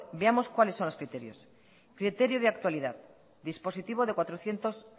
veamos cuales son los criterios criterio de actualidad dispositivo de cuatrocientos